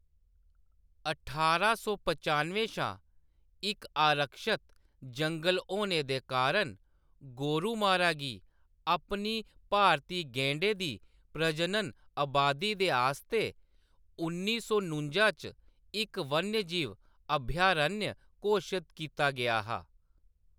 ठारां सौ पचानुएं शा इक आरक्षत जंगल होने दे कारण, गोरुमारा गी अपनी भारती गैंडें दी प्रजनन अबादी दे आस्तै उन्नी सौ नुंजा च इक वन्यजीव अभयारण्य घोशत कीता गेआ हा।